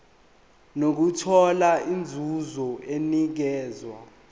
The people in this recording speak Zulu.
nokuthola inzuzo enikezwa